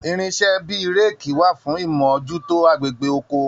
Irinṣẹ̀ bíi réékí wà fún imojuto agbègbè oko.